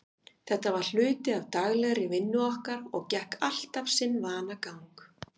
Þetta var hluti af daglegri vinnu okkar og gekk alltaf sinn vanagang.